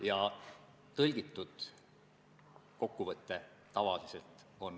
Jah, sealt tuli märkusteta tagasiside.